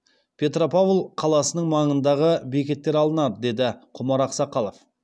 петропавл қаласының маңындағы бекеттер алынады деді құмар ақсақалов